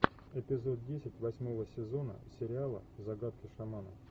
эпизод десять восьмого сезона сериала загадки шамана